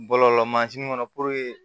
Bɔlɔlɔ mansin kɔnɔ